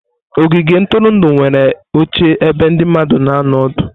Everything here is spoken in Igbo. Ogige ntụrụndụ nwere oche ebe ndị mmadụ na anọ ọdụ.